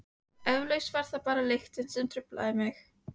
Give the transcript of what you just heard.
Eflaust var það bara lyktin sem truflaði mig.